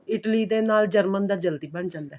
Italy ਤੇ ਨਾਲ German ਦਾ ਜਲਦੀ ਬਣ ਜਾਂਦਾ ਏ